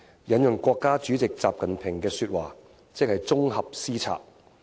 引用國家主席習近平的說話，即是綜合施策。